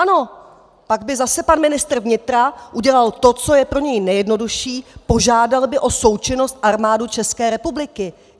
Ano, pak by zase pan ministr vnitra udělal to, co je pro něj nejjednodušší - požádal by o součinnost Armádu České republiky.